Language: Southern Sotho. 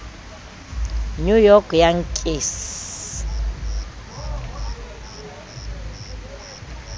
new york yankees